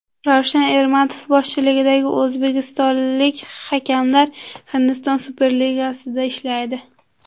Ravshan Ermatov boshchiligidagi o‘zbekistonlik hakamlar Hindiston Superligasida ishlaydi.